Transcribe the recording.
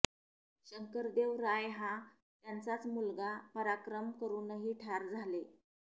शंकरदेव राय हा त्यांचाच मुलगा पराक्रम करुनही ठार झाले